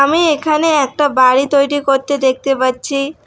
আমি এখানে একটা বাড়ি তৈরি করতে দেখতে পাচ্ছি।